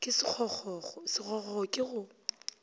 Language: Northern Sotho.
ke sekgokgokgo sekgokgokgo ke go